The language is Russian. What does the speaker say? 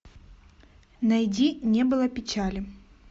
найди не было печали